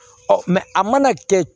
a mana kɛ